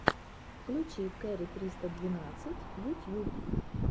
включи кэрри триста двенадцать ютьюб